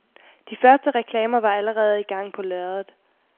De første reklamer var allerede i gang på lærredet.